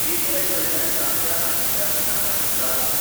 PayPal कडल्यान सामक्या हालींच्या इनामाचेर दावो कर.